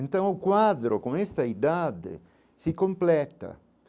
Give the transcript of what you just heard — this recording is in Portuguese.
Então, o quadro, com esta idade, se completa.